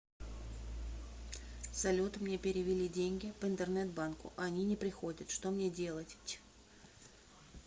салют мне перевели деньги по интернет банку а они не приходят что мне делать ть